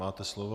Máte slovo.